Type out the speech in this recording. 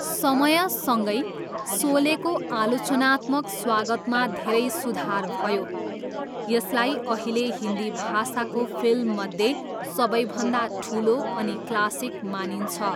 समयसँगै, सोलेको आलोचनात्मक स्वागतमा धेरै सुधार भयो, यसलाई अहिले हिन्दी भाषाको फिल्ममध्ये सबैभन्दा ठुलो अनि क्लासिक मानिन्छ।